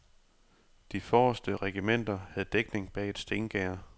De forreste regimenter havde dækning bag et stengærde.